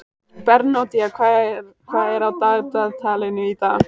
Bernódía, hvað er á dagatalinu í dag?